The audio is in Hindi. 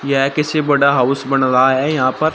यह किसी बड़ा हाउस बन रहा है यहां पर--